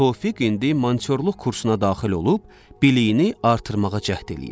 Tofiq indi mantyorluq kursuna daxil olub, biliyini artırmağa cəhd eləyir.